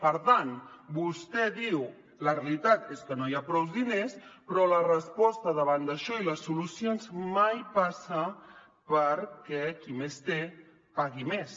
per tant vostè diu la realitat és que no hi ha prous diners però la resposta davant d’això i les solucions mai passen perquè qui més té pagui més